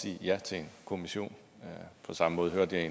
sige ja til en kommission på samme måde hørte jeg